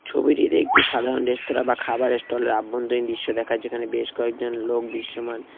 ছবিটিতে একটি সাধারণ রেস্তোরাঁ বা খাবারের স্টলের আভ্যন্তরীন দৃশ্য দেখা যাচ্ছে এখানে বেশ কয়েকজন লোক দৃশ্যমান।